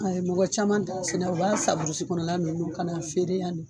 Mɔgɔ caman t'a sɛnɛ, u b'a san kɔnɔ ninnu na ka na an feere yan.